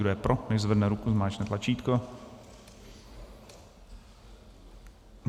Kdo je pro, nechť zvedne ruku, zmáčkne tlačítko.